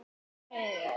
Frábært djók, maður!